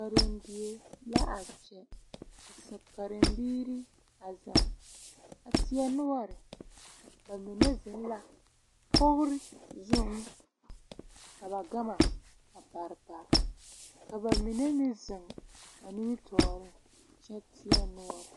Karendie la a kyɛ ka karembiiri a zeŋ a teɛ noɔre ba mine zeŋ la kogri zuŋ ka ba gama a pare pare ka ba mine meŋ zeŋ nimitɔɔreŋ kyɛ teɛ noɔre.